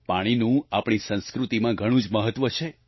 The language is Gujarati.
પાણીનું આપણી સંસ્કૃતિમાં ઘણું જ મહત્વ છે